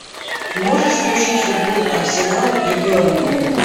можешь включить футбол арсенал и бернли